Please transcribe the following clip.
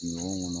Ɲɔgɔn kɔnɔ